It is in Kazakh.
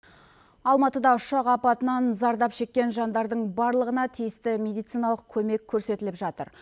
алматыда ұшақ апатынан зардап шеккен жандардың барлығына тиісті медициналық көмек көрсетіліп жатыр